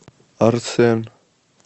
арсен